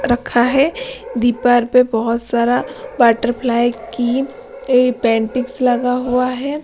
रखा है दीपर पे बहुत सारा बटरफ्लाई कीपेंटिंग्स लगा हुआ है।